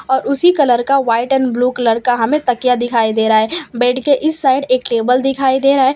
और उसी कलर का व्हाइट एंड ब्लू कलर का हमें तकिया दिखाई दे रा है बेड के इस साइड एक टेबल दिखाई दे रा है।